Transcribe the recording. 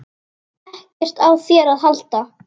EKKERT Á ÞÉR AÐ HALDA!